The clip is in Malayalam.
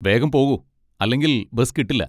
വേഗം പോകൂ, അല്ലെങ്കിൽ ബസ് കിട്ടില്ല.